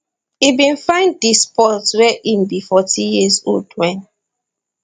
e bin find di sport wen e be 14 years old wen